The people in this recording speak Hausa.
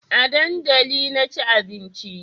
A dandali na ci abinci